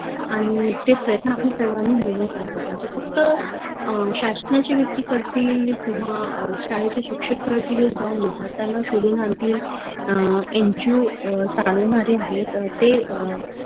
अं आनि ते प्रयत्न आपन सर्वांनी मिळून करायला पाहिजे फक्त अं शासनाचे व्यक्ती करतील किंव्हा अं शाळेचे शिक्षक करतील जाऊन विद्यार्थ्यांना शोधून आनतील अं NGO चावनारे आहे त ते अह